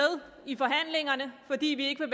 i forhandlingerne fordi vi ikke